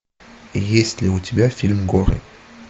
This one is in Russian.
есть ли у тебя фильм горы